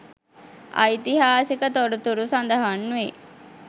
ඓතිහාසික තොරතුරු සඳහන් වේ.